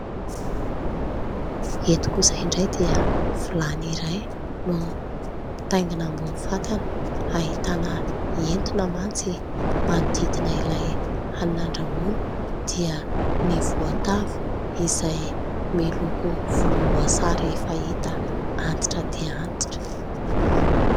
Eto kosa indray dia vilany iray no mitaingina ambony fatana, ahitana hentona mantsy manodidina ilay hanina andrahoana, dia ny voatavo izay miloko volomboasary efa hita antitra dia antitra.